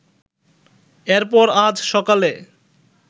এরপর আজ সকালে